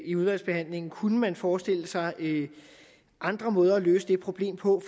i udvalgsbehandlingen kunne man forestille sig andre måder at løse det problem på